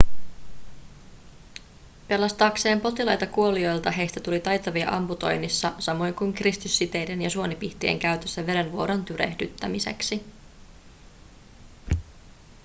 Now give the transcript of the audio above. pelastaakseen potilaita kuolioilta heistä tuli taitavia amputoinnissa samoin kuin kiristyssiteiden ja suonipihtien käytössä verenvuodon tyrehdyttämiseksi